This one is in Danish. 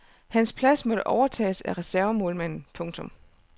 Hans plads måtte overtages af reservemålmanden. punktum